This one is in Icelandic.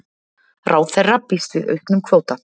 Ráðherra býst við auknum kvóta